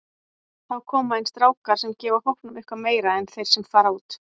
Þá koma inn strákar sem gefa hópnum eitthvað meira en þeir sem fara út.